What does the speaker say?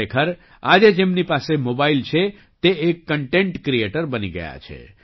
ખરેખર આજે જેમની પાસે મોબાઇલ છે તે એક કન્ટેન્ટ ક્રીએટર બની ગયા છે